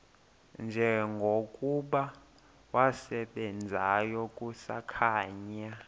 njengokuba wasebenzayo kusakhanya